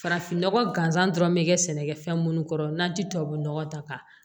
Farafin nɔgɔ gansan dɔrɔn bɛ kɛ sɛnɛkɛfɛn minnu kɔrɔ n'an ti tubabu nɔgɔ ta ka